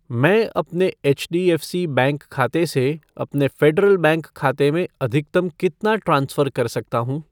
मैं अपने HDFC. Bank खाते से अपने फ़ेडरल बैंक खाते में अधिकतम कितना ट्रांसफ़र कर सकता हूँ?